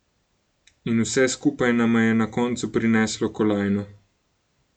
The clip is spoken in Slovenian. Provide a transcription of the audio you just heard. In vse skupaj nama je na koncu prineslo kolajno.